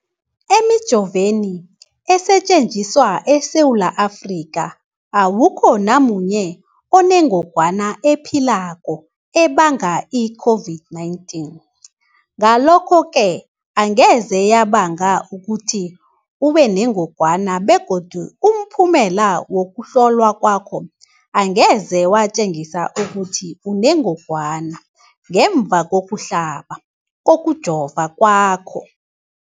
Emijoveni esetjenziswa eSewula Afrika, awukho namunye onengog wana ephilako ebanga i-COVID-19. Ngalokho-ke angeze yabanga ukuthi ubenengogwana begodu umphumela wokuhlolwan kwakho angeze watjengisa ukuthi unengogwana ngemva kokuhlaba, kokujova kwakho.